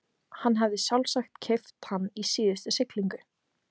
Hann hafði sjálfsagt keypt hann í síðustu siglingu.